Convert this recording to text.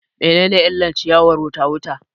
Me ne ne illar ciyawar wuta wuta